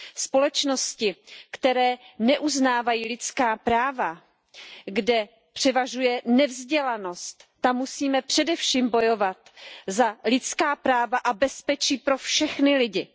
Společnosti, které neuznávají lidská práva, kde převažuje nevzdělanost, tam musíme především bojovat za lidská práva a bezpečí pro všechny lidi.